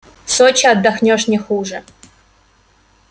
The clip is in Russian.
в сочи отдохнёшь не хуже